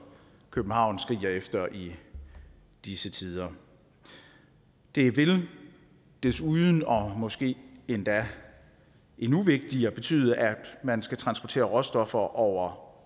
københavn skriger efter i disse tider det vil desuden og måske endda endnu vigtigere betyde at man skal transportere råstoffer over